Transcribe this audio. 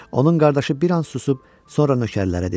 Onun qardaşı bir an susub sonra nökərlərə dedi: